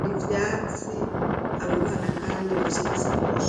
n'ivyatsi abo bana kandi bafise n'isakoshe.